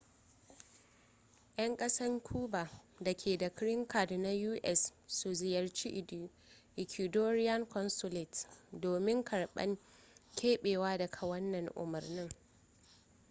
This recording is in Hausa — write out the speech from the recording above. yan kasan cuba da ke da green card na us su ziyarci ecuadorian consulate domin karban kebewa daga wannan umurni